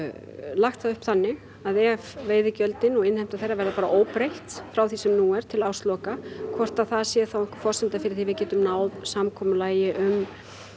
lagt það upp þannig að ef veiðigjöldin og innheimta þeirra verði bara óbreytt frá því sem nú er til ársloka hvort það sé þá einhver forsenda fyrir því að við getum þá náð samkomulagi um